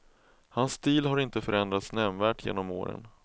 Hans stil har inte förändrats nämnvärt genom åren.